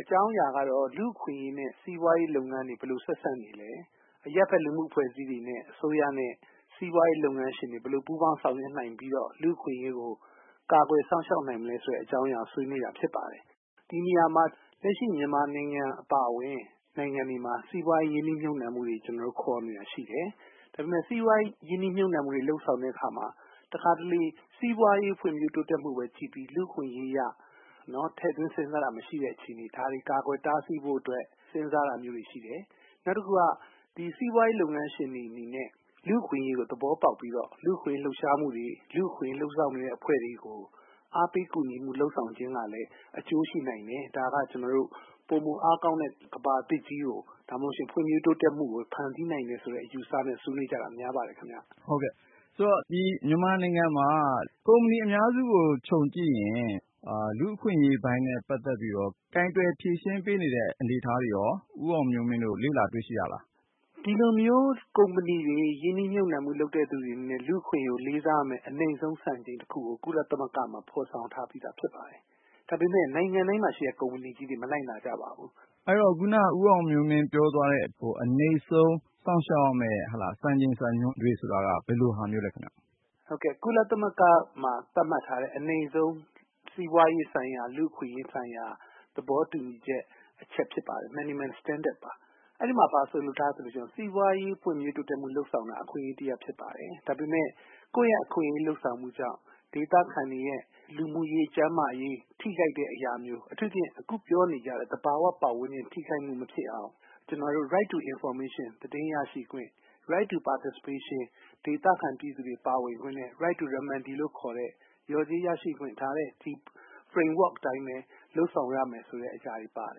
အကြောင်းအရာကတော့ လူ့အခွင့်အရေးနဲ့ စီးပွားရေးလုပ်ငန်းတွေ ဘယ်လို ဆက်စပ်နေသလဲ၊ အရပ်ဘက် လူမှုအဖွဲ့အစည်းတွေနဲ့ အစိုးရနဲ့ စီးပွားရေးလုပ်ငန်းရှင်တွေ ဘယ်လိုပူးပေါင်းဆောင်ရွက်နိုင်ပြီးတော့ လူ့အခွင့်အရေးကို ကာကွယ်စောင့်ရှောက်နိုင်မလဲ ဆိုတဲ့အကြောင်းအရာကို ဆွေးနွေးတယ်။ ဒီနေရာမှာ လက်ရှိမြန်မာနိုင်ငံအပါအဝင် စီးပွားရေး ရင်းနှီးမြှုပ်နှံမှုတွေ ခေါ်နေတာရှိတယ်။ ဒါပေမယ့် စီးပွားရေးရင်းနှီးမြှုပ်နှံမှုတွေ လုပ်ဆောင်တဲ့အခါမှာ တခါတလေ စီးပွားရေးဖွံ့ဖြိုးတိုးတက်မှုပဲကြည့်ပြီး လူ့အခွင့်အရေးကို ထည့်သွင်းစဉ်းစားတာမရှိတ ဲ့အခြေအနေ ၊ ဒါတွေကို ကာကွယ်တားဆီးဖို့အတွက် စဉ်းစားတာတွေရှိတယ်။ နောက်တခုက ဒီစီးပွားရေးလုပ်ငန်းရှင်တွေနဲ့ လူ့အခွင့်အရေးလို့ သဘောပေါက်ပြီးတော့ လူ့အခွင့်အရေး လှုပ်ရှားမှုတွေ လူ့အခွင့်အရေးလုပ်ဆောင်နေတဲ့အဖွဲ့တွေကို အားပေးကူညီမှုလုပ်ဆောင်ခြင်းကလည်း အကျိုးရှိနိုင်တယ်။ ဒါက ကျနော်တို့ ပိုမိုအားကောင်းတဲ့ ကမ္ဘာသစ်ကို ဒါမှ မဟုတ်ရင်လည်း ဖွံ့ဖြိုးတိုးတက်မှုကို ဖန်တီးနိုင်တယ်ဆိုတဲ့ အယူအဆနဲ့ ဆွေးနွေးတာ များပါတယ်ခင်ဗျ။ ကိုဉာဏ်ဝင်းအောင်။ ။ မြန်မာနိုင်ငံမှာ ကုမ္ပဏီအများစုကို ခြုံကြည့်ရင် လူ့အခွင့်အရေးပိုင်းနဲ့ ပတ်သက်ပြီးတော့ ကိုင်တွယ်ဖြေရှင်းပေးနေတဲ့အနေအထားတွေရော ဦးအောင်မျိုးမင်းတို့ လေ့လာတွေ့ရှိရသလား။ ဦးအောင်မျိုးမင်း။ ။ ဒီလိုကုမ္ပဏီတွေ ရင်းနှီးမြှုပ်နှံတဲ့သူတွေအနေနဲ့ လူ့အခွင့်အရေး လေးစားလိုက်နာရမယ့် အနိမ့်ဆုံးစံချိန်တခုကို ကုလသမဂ္ဂမှာ ဖော်ဆောင်ထားပြီးသားဖြစ်ပါတယ်။ ဒါပေမယ့် နိုင်ငံတိုင်းမှာ ရှိတဲ့ ကုမ္ပဏီကြီးတွေ မလိုက်နာကြပါဘူး။ ကိုဉာဏ်ဝင်းအောင်။ ။ အဲဒီတော့ ခုနက ဦးအောင်မျိုးမင်း ပြောသွားတဲ့ အနိမ့်ဆုံးစောင့်ရှောက်ရမယ့် စံချိန်စံညွှန်းတွေဆိုတာ ဘယ်လိုဟာမျိုးလဲခင်ဗျ။ ဦးအောင်မျိုးမင်း။ ။ ကုလသမဂ္ဂမှာ သတ်မှတ်ထားတဲ့ အနိမ့်ဆုံးစီးပွားရေးဆိုင်ရာ လူ့အခွင့်အရေးဆိုင်ရာ သဘောတူဦချက်အချက်တချက်ဖြစ်ပါတယ်။ minimum standard ပါ အဲဒီမှာ ဘာဆိုလိုထားသလဲဆိုတော့ စီးပွားရေး ဖွံ့ဖြိုးတိုးတက်မှုလုပ်ဆောင်တာက အခွင့်အရေးတရပ်ဖြစ်ပါတယ်။ ဒါပေမယ့် ကိုယ့်အခွင့်အရေးလုပ်ဆောင်မှုကြောင့် ဒေသခံတွေ ရဲ့ လူမှုရေး၊ ကျန်းမာရေး ထိခိုက်တဲ့အရာမျိုး အထူးသဖြင့် အခုပြောနေတဲ့ သဘာဝပတ်ဝန်းကျင် ထိခိုက်မှုမဖြစ်အောင် ကျနော်တို့ Right to Information သတင်းရရှိခွင့်၊ Right to Participation ဒေသခံပြည်သူတွေပါဝင်ခွင့် Right to Remedy လျော်ကြေးရရှိခွင့် ဒီ Frame work အတိုင်း လုပ်ဆောင်ရမယ့်အရာတွေပါတ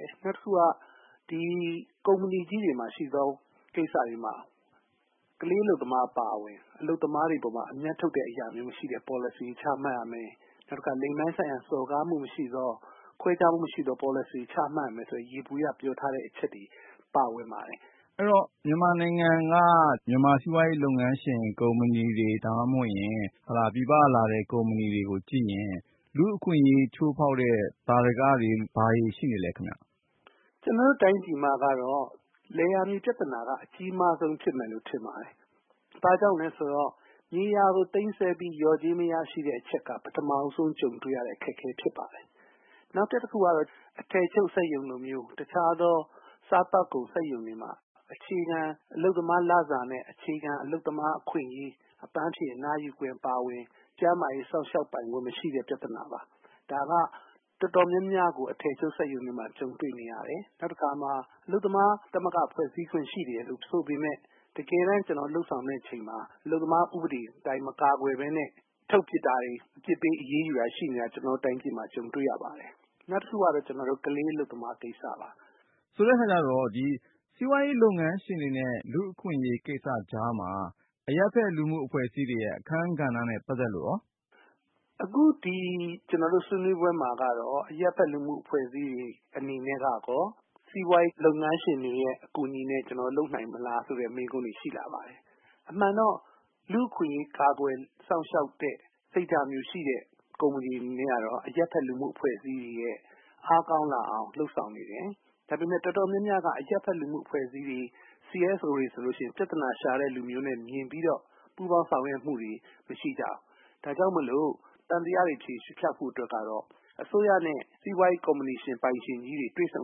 ယ်။ နောက်တခုက ကုမ္ပဏီကြီးတွေမှာ တချို့သောကိစ္စမှာ ကလေးအလုပ်သမားအပါအဝင် အလုပ်သမားတွေအပေါ် အမြတ်ထုတ်တဲ့အရာမျိုးမရှိတဲ့ Policy တွေချမှတ်ရမယ်၊ နောက်တခါ လိင်ပိုင်းဆိုင်ရာ စော်ကားမှုမရှိသော ခွဲခြားမှုမရှိသော Policy တွေချမှတ်ရမယ် ဆိုတဲ့ ယေဘုယျအချက်တွေပါဝင်ပါတယ်။ ကိုဉာဏ်ဝင်းအောင်။ ။ မြန်မာနိုင်ငံက မြန်မာစီးပွားရေးလုပ်ငန်းရှင်ကုမ္ပဏီတွေ ဒါမှမဟုတ် ပြည်ပကလာတဲ့ ကုမ္ပဏီတွေကိုကြည့်ရင် လူ့အခွင့်အရေးချိုးဖောက်တဲ့ သာဓကတွေ ဘာတွေရှိနေပါသလဲ။ ဦးအောင်မျိုးမင်း။ ။ ကျနော်တို့တိုင်းပြည်မှာတော့ လယ်ယာမြေ ပြဿနာကတော့ အကြီးမားဆုံးဖြစ်မယ်လို့ ထင်ပါတယ်။ ဘာကြောင့်လဲဆိုတော့ မြေယာကို သိမ်းဆည်းပြီး လျော်ကြေးမရရှိတဲ့ အချက်က ပထမဦးဆုံးကြုံတွေ့ရတဲ့ အခက်အခဲဖြစ်ပါတယ်။ နောက်ထပ်တခုကတော့ အထည်ချုပ်စက်ရုံလိုမျိုးတခြားသော စားသောက်ကုန်စက်ရုံတွေမှာ အခြေခံအလုပ်သမားလစာတွေနဲ့ အခြေခံ အလုပ်သမားအခွင့်အရေး ၊ အပန်းဖြေအနားယူခွင့်အပါအဝင် ကျန်းမာရေး စောင့်ရှောက်ပိုင်ခွင့် မရှိတဲ့ ပြဿနာပါ။ ဒါက တော်တော်များများကို အထည်ချုပ် စက်ရုံတွေမှာ ကြုံတွေ့နေရတယ်။ နောက်တခါ အလုပ်သမား သမဂ္ဂ ဖွဲ့စည်းခွင့်ရှိတယ်ဆိုပေမယ့် တကယ်တမ်းကျနော်တို့ လုပ်ဆောင်တဲ့အချိန်မှာ အလုပ်သမား ဥပဒေအတိုင်း မကာကွယ်ပဲနဲ့ ထုတ်ပစ်တာတွေ အပြစ်ပေးအရေးယူတာတွေ ရှိတာ ကျနော်တို့ တိုင်းပြည်မှာ ကြုံနေရပါတယ်။ နောက်တခုကတော့ ကလေးအလုပ်သမားကိစ္စပါ။ ကိုဉာဏ်ဝင်းအောင်။ ။ဆိုတဲ့အခါကျတော့စီးပွားရေးလုပ်ငန်းရှင်တွေနဲ့ လူ့အခွင့်အရေးကိစ္စကြားမှာ အရပ်ဖက်လူမှု့အဖွဲ့အစည်းတွေရဲ့ အခန်းကဏ္ဍနဲ့ ပတ်သက်လို့ရော။ ဦးအောင်မျိုးမင်း။ ။ ကျနော်တို့ဆွေးနွေးပွဲမှာက အရပ်ဖက်လူမှု့အဖွဲ့အစည်းတွေ အနေနဲ့ကရောစီးပွားရေးလုပ်ငန်းရှင်တွေရဲ့ အကူအညီနဲ့ ကျနော်တို့ လုပ်နိုင်မလား ဆိုတဲ့မေးခွန်းတွေရှိလာပါတယ်။ အမှန်တော့ လူ့အခွင့်အရေး ကာကွယ်စောင့်ရှောက်တဲ့ စိတ်ထားမျိုးရှိတဲ့ ကုမ္ပဏီတွေအနေနဲ့ကတော့ အရပ်ဖက်လူမှု့အဖွဲ့အစည်းတွေအားကောင်းလာအောင် လုပ်ဆောင်နေတယ်။ ဒါပေမယ့် တော်တော်များများက အရပ်ဖက်လူမှု့အဖွဲ့အစည်းတွေCSO တွေဆိုရင် ပြဿနာရှာတဲ့လူတွေအမြင်နဲ့ မြင်ပြီးတော့ ပူးပေါင်းဆောင်ရွက်မှုတွေမရှိကြဘူး။ ဒါကြောင့် သံသယတွေ ဖျောက်ဖို့အတွက်ကတော့ အစိုးရနဲ့ စီးပွားရေး ကုမ္ပဏီရှင်တွေ တွေ့ဆုံ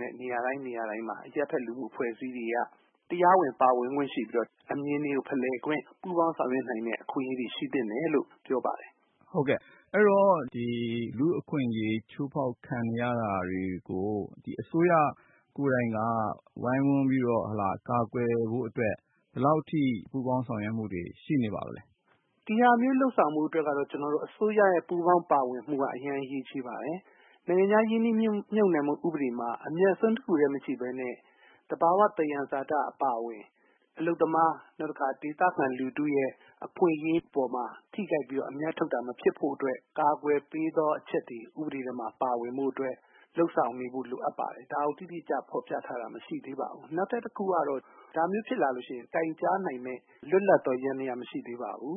တဲ့ နေရာတိုင်းမှာ အရပ်ဖက်လူမှုအဖွဲ့အစည်းတွေက တရားဝင် ပါဝင်ခွင့်ရှိပြီးတော့ အမြင်ဖလှယ်ခွင့်၊ ပူးပေါင်းဆောင်ရွက်နိုင်တဲ့ အခွင့်အရေးတွေရှိသင့်တယ်လို့ ပြောပါတယ်။ ကိုဉာဏ်ဝင်းအောင်။ ။ အဲဒီတော့ လူ့အခွင့်အရေးချိုးဖောက်ခံနေရတာ တွေကို အစိုးရ ကိုယ်တိုင်က ဝိုင်းဝန်းပြီးတော့ ကာကွယ်ဖို့အတွက် ဘယ်လောက်အထိ ပူးပေါင်းဆောင်ရွက်မှုတွေရှိနေပါသလဲ။ ဦးအောင်မျိုးမင်း။ ။ ဒါမျိုးလုပ်ဆောင်ဖို့အတွက်တော့ ကျနော်တို့ အစိုးရရဲ့ ပူးပေါင်းပါဝင်မှုက အရေးကြီးပါတယ်။ နိုင်ငံခြားရင်းနှီးမြုပ်နှံမှု ဥပဒေမှာ အမြတ်အစွန်းတခုတည်းမကြည့်ပဲနဲ့ သဘာ၀ သံယံဇာတအပါအဝင် အလုပ်သမား နောက်တခါ ဒေသခံလူထုရဲ့ အခွင့်အရေးအပေါ်မှာ ထိခိုက်ပြီးတော့ အမြတ်ထုတ်တာ မဖြစ်ဖို့အတွက် ကာကွယ်ပေးသောအချက်တွေ ဥပဒေထဲမှာ ပါဝင်ဖို့အတွက် လုပ်ဆောင်ဖို့အတွက် လိုအပ်ပါတယ် ဒါကို တိတိကျကျ ဖော်ပြထားတာ မရှိသေးပါဘူး။ နောက်ထပ်တခုကတော့ ဒါမျိုးဖြစ်လာရင် တိုင်ကြားနိုင်မယ့် လွတ်လပ်သော ယန္တယားမရှိသေးပါဘူး